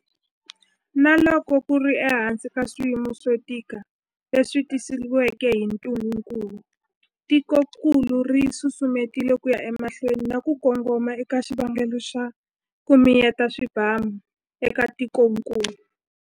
Na loko ku ri ehansi ka swiyimo swo tika leswi tisiweke hi ntungukulu, tikokulu ri susumetile ku ya emahlweni na ku kongoma eka xikongomelo xa 'ku miyeta swibamu' eka tikokulu.